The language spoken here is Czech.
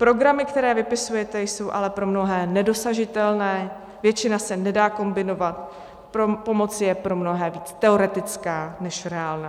Programy, které vypisujete, jsou ale pro mnohé nedosažitelné, většina se nedá kombinovat, pomoc je pro mnohé víc teoretická než reálná.